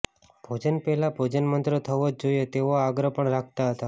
ભોજન પહેલાં ભોજનમંત્ર થવો જ જોઈએ તેવો આગ્રહ પણ રાખતા હતા